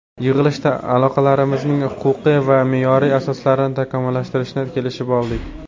Yig‘ilishda aloqalarimizning huquqiy va me’yoriy asoslarini takomillashtirishni kelishib oldik.